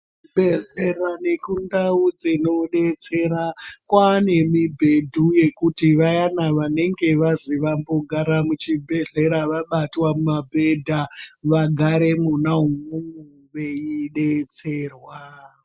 Chibhehlera nekundau dzinodetsera kwane mibhedhu yekuti vayana vanenge vazi vambogara muchibhehlera vabatwa mumabhedha vagare mona umwomwo veidetserwa .